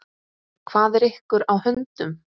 Hvað er ykkur á höndum?